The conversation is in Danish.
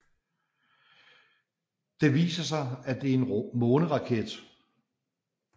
Det viser sig at det er en måneraket